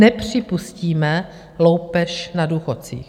Nepřipustíme loupež na důchodcích.